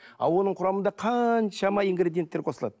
ал оның құрамында қаншама ингридиенттер қосылады